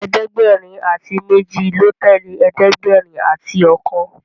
ẹ̀ẹ́dẹ̀gbẹ̀rin ati méjì ló tẹlẹ ẹ̀ẹ́dẹ̀gbẹ̀rin àti okan.